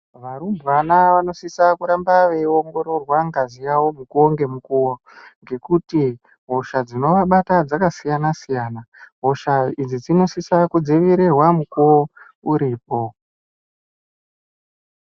Varumbwana vanosisa kuramba veiongororwa ngazi yawo mukowo ngemukuwo ngekuti hosha dzinovabata dzakasiyana siyana hosha idzi dzinosisa kudzivirirwa mukuwo uripo.